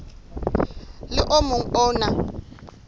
le o mong o na